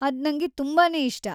ಅದ್‌ ನಂಗೆ ತುಂಬಾನೇ ಇಷ್ಟ!